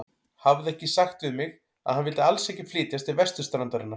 Hafði hann ekki sagt við mig, að hann vildi alls ekki flytjast til vesturstrandarinnar?